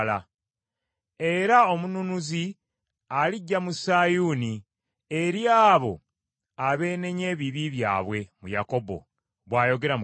“Era Omununuzi alijja mu Sayuuni, eri abo abeenenya ebibi byabwe mu Yakobo,” bw’ayogera Mukama .